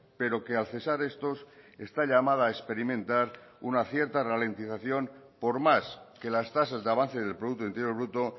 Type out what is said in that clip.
pero que al cesar estos está llamada a experimentar una cierta ralentización por más que las tasas de avance del producto interior bruto